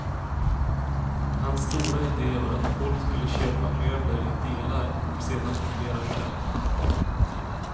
Hans stora ide var att folk skulle köpa möbler i delar och sedan montera själv.